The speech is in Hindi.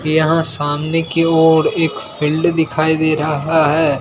यहां सामने की ओर एक फील्ड दिखाई दे रहा है।